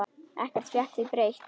Ekkert fékk því breytt.